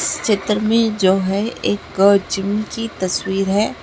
इस चित्र में जो है एक जिम की तस्वीर है।